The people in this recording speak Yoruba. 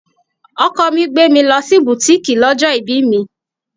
Ọkọ mi gbé mi lọ sí butiiki lọ́jọ́ ibí mi.